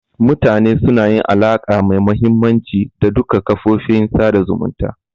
Mutane suna yin alaka mai mahimmanci da duka kafofin sada zumunta